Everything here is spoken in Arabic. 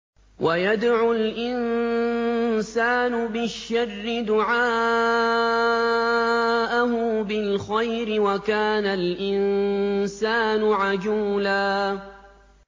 وَيَدْعُ الْإِنسَانُ بِالشَّرِّ دُعَاءَهُ بِالْخَيْرِ ۖ وَكَانَ الْإِنسَانُ عَجُولًا